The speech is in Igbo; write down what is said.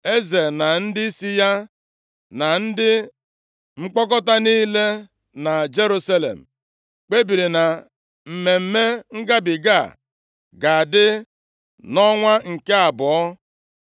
Eze na ndịisi ya, na ndị nkpọkọta niile na Jerusalem kpebiri na Mmemme Ngabiga a ga-adị nʼọnwa nke abụọ.